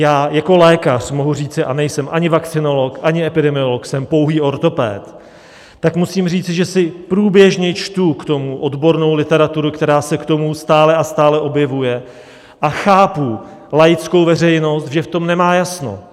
Já jako lékař mohu říci, a nejsem ani vakcinolog, ani epidemiolog, jsem pouhý ortoped, tak musím říci, že si průběžně čtu k tomu odbornou literaturu, která se k tomu stále a stále objevuje, a chápu laickou veřejnost, že v tom nemá jasno.